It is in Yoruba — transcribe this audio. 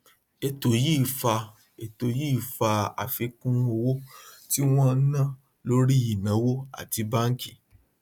ètò yìí fa ètò yìí fa àfikún owó tí wọn ń ná lórí ìnáwó àti báńkì